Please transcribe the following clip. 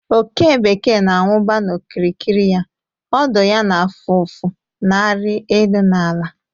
Oke bekee na-awụba n’okirikiri ya, ọdụ ya na-afụ ụfụ na-arị elu na ala.